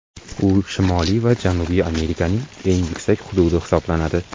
U Shimoliy va Janubiy Amerikaning eng yuksak hududi hisoblanadi.